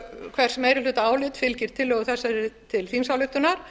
hvers meirihlutaálit fylgir tillögu þessari til þingsályktunar